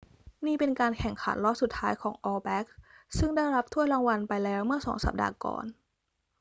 นี่เป็นการแข่งขันรอบสุดท้ายของ all blacks ซึ่งได้รับถ้วยรางวัลไปแล้วเมื่อสองสัปดาห์ก่อน